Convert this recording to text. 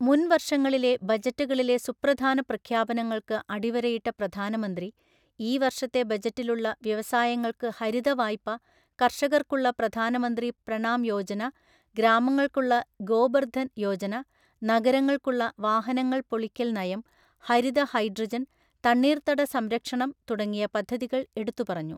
മുൻവർഷങ്ങളിലെ ബജറ്റുകളിലെ സുപ്രധാന പ്രഖ്യാപനങ്ങൾക്ക് അടിവരയിട്ട പ്രധാനമന്ത്രി, ഈ വർഷത്തെ ബജറ്റിലുള്ള വ്യവസായങ്ങൾക്കു ഹരിതവായ്പ, കർഷകർക്കുള്ള പ്രധാനമന്ത്രി പ്രണാം യോജന, ഗ്രാമങ്ങൾക്കുള്ള ഗോബർധൻ യോജന, നഗരങ്ങൾക്കുള്ള വാഹനങ്ങൾ പൊളിക്കൽ നയം, ഹരിത ഹൈഡ്രജൻ, തണ്ണീർത്തട സംരക്ഷണം തുടങ്ങിയ പദ്ധതികൾ എടുത്തുപറഞ്ഞു.